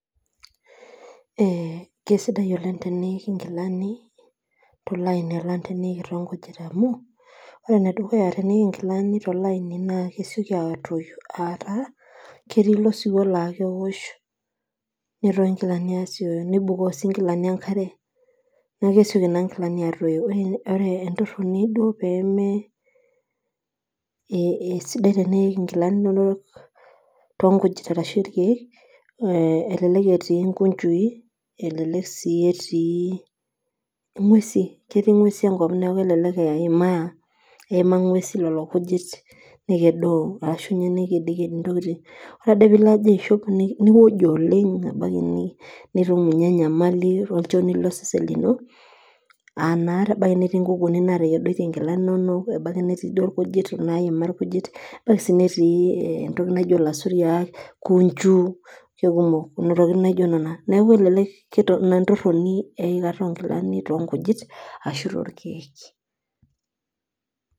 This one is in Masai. Ee kesidai oleng tenik nkilani tolaini alang tonkujit amu ore piik nkilani tolaini ma kesieki atoyu ataa ketii oaiwuo na keosh neibukoo nkilani enkare neaku kesieki atoyu ore entoroni duo pemesidai niik nkilani tonkujit ashu torkiek melelek etii nkujui elelek etii ngwesu ketii ngwesi enkop neaku kelelek eimaa ngwesu lolo kujit nekedio ore pilo aishop niojo oleng ebaki nitum enyamali osesen lino aa naa ebaki nerii nkukunik natekedoitie nkilani inono tenebo ebaki neima duo irkujit netii entoki naji lasuriak neaku inaentoroni eikata onkilani tonkujit ashu torkiek.